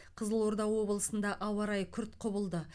қызылорда облысында ауа райы күрт құбылды